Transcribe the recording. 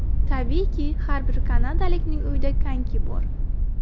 Tabiiyki, har bir kanadalikning uyida konki bor.